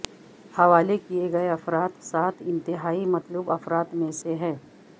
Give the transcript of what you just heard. حوالے کیے گئے افراد سات انتہائی مطلوب افراد میں سے ہیں